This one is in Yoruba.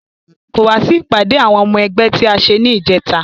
Kò wá sí ìpàdé àwọn ọmọ ẹgbẹ́ tí a ṣe ní ìjẹta